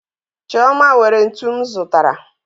Chioma were ntu m zụtara